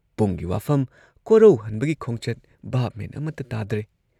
ꯄꯨꯡꯒꯤ ꯋꯥꯐꯝ, ꯀꯣꯔꯧꯍꯟꯕꯒꯤ ꯈꯣꯡꯆꯠ ꯚꯥꯕ ꯃꯦꯟ ꯑꯃꯇ ꯇꯥꯗ꯭ꯔꯦ ꯫